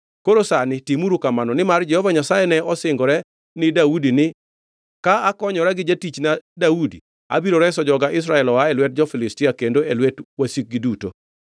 Koro sani timuru kamano! Nimar Jehova Nyasaye ne osingore ni Daudi ni, Ka akonyora gi jatichna Daudi abiro reso joga Israel oa e lwet Filistia kendo e lwet wasikgi duto.